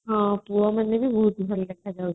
ହଁ ପୁଅମାନେ ବି ବହୁତ ଭଲ ଦେଖାଯାଉଥିଲେ